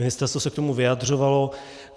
Ministerstvo se k tomu vyjadřovalo.